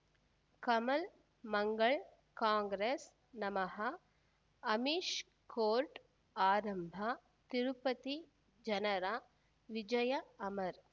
Kamal Mangal Congress ನಮಃ Amish court ಆರಂಭ ತಿರುಪತಿ ಜನರ ವಿಜಯ ಅಮರ್